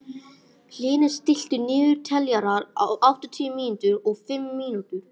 Hlynur, stilltu niðurteljara á áttatíu og fimm mínútur.